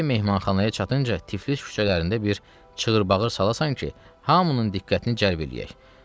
Gərək mehmanxanaya çatınca Tiflis küçələrində bir çığırbağır salasan ki, hamının diqqətini cəlb eləyək.